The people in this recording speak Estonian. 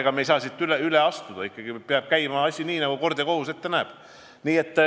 Ega me ei saa sellest üle astuda, asi peab ikkagi käima nii, nagu kord ja kohus.